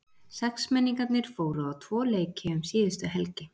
Sexmenningarnir fóru á tvo leiki um síðustu helgi.